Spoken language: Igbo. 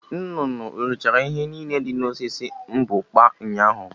Nnụnụ o richala ihe niile dị n'osisi mbukpa ụnyaahụ?